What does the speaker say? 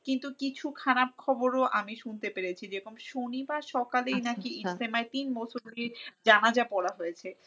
কিন্তু কিছু খারাপ খবরও আমি শুনতে পেরেছি যেরকম শনিবার সকালেই নাকি তিন মুসল্লির জানাজা পড়া হয়েছে।